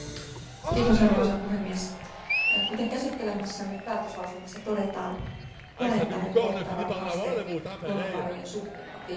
Arvoisa puhemies, kuten käsittelemässämme päätöslauselmassa todetaan, planeettaamme kohtaavat haasteet luonnonvarojen suhteen ovat ilmeiset.